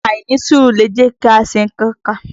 Àìnísùúrù lẹ̀ jẹ́kí a ṣi nnkan kà.